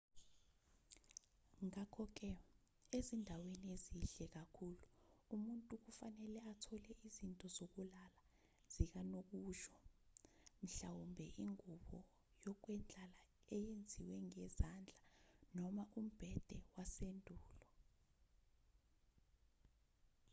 ngakho-ke ezindaweni ezihle kakhulu umuntu kufanele athole izinto zokulala zikanokusho mhlawumbe ingube yokwendlala eyenziwe ngezandla noma umbhede wasendulo